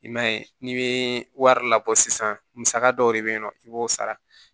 I man ye n'i bɛ wari labɔ sisan musaka dɔw de bɛ yen nɔ i b'o sara